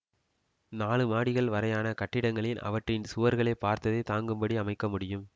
நாழு மாடிகள் வரையான கட்டிடங்களின் அவற்றின் சுவர்களே பாரத்தைத் தாங்கும்படி அமைக்க முடியும்